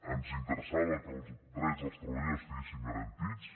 ens interessava que els drets dels treballadors estiguessin garantits